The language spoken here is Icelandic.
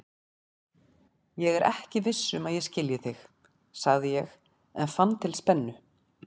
Ég er ekki viss um að ég skilji þig, sagði ég en fann til spennu.